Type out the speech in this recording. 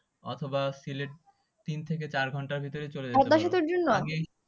অথবা তিন থেকে চার ঘন্টার ভিতরে